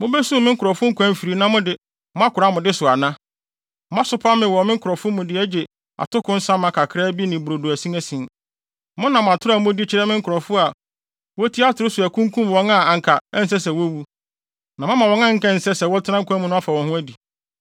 Moasopa me wɔ me nkurɔfo mu de agye atoko nsa ma kakraa bi ne brodo asinasin. Monam atoro a mudi kyerɛ me nkurɔfo a wotie atoro so akunkum wɔn a anka ɛnsɛ sɛ wowuwu, na moama wɔn a anka ɛnsɛ sɛ wɔtena nkwa mu no afa wɔn ho adi.